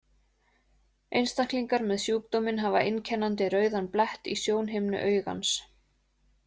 Einstaklingar með sjúkdóminn hafa einkennandi rauðan blett í sjónhimnu augans.